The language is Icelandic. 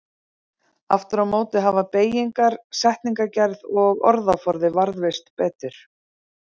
Aftur á móti hafa beygingar, setningagerð og orðaforði varðveist betur.